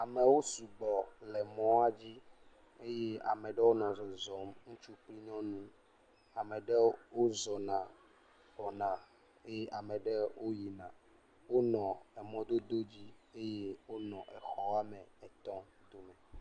Amewo su gbɔ le mɔa dzi eye ame ɖɔo nɔ zɔzɔm, ŋutsu kple nyɔnu, ame ɖewo wozɔna gbɔna eye ame ɖewo woyina wonɔ emɔdodo dzi eye onɔ exɔ woame etɔ̃ dome.